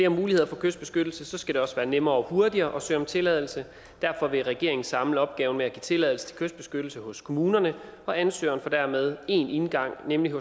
muligheder for kystbeskyttelse skal det også være nemmere og hurtigere at søge om tilladelse derfor vil regeringen samle opgaven med at give tilladelse til kystbeskyttelse hos kommunerne og ansøgerne får dermed én indgang nemlig